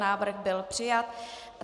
Návrh byl přijat.